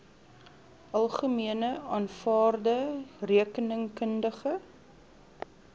algemene aanvaarde rekeningkundige